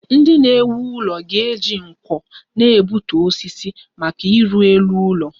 Ndị na-ewu ụlọ ga-eji nkwọ na-egbutu osisi maka ịrụ elu ụlọ